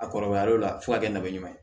A kɔrɔbayalen la fo ka kɛ nakɔ ɲuman ye